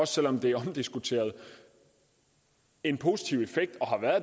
selv om det er omdiskuteret en positiv effekt